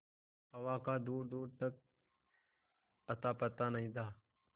हवा का दूरदूर तक अतापता नहीं था